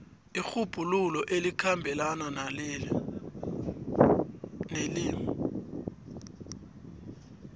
irhubhululo elikhambelana nelimi